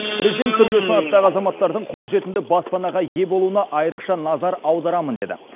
президент түрлі санаттағы азаматтардың қолжетімді баспанаға ие болуына айрықша назар аударамын деді